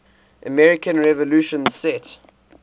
american revolution set